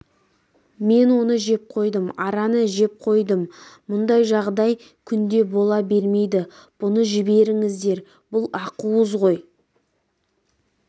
мен оны жеп қойдым араны жеп қойдым мұндай жағдай күнде бола бермейді бұны жіберіңіздер бұл ақуыз ғой